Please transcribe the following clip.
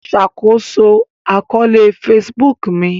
Ṣakoso akọọlẹ Facebook mi